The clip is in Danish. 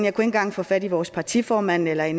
ikke engang få fat i vores partiformand eller i